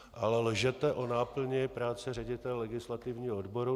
A lžete o náplni práce ředitele legislativního odboru.